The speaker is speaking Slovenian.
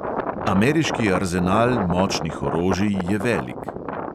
Ameriški arzenal močnih orožij je velik.